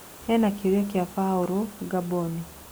Hena kĩũria kĩa Baũrũ Ngamboni.